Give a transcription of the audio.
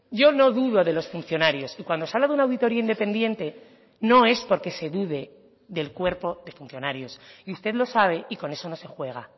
yo no dudo de los funcionarios y cuando se ha dado una auditoría independiente no es porque se dude del cuerpo de funcionarios y usted lo sabe y con eso no se juega